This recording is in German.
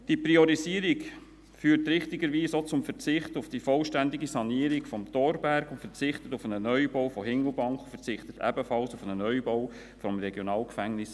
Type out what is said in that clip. Diese Priorisierung führt richtigerweise auch zum Verzicht auf die vollständige Sanierung des Thorberg, auf einen Neubau von Hindelbank und ebenfalls auf einen Neubau des RG Bern.